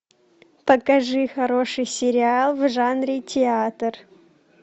покажи хороший сериал в жанре театр